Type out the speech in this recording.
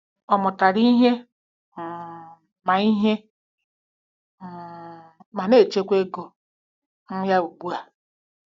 Ọ mụtara ihe um ma ihe um ma na-achịkwa ego um ya ugbu a.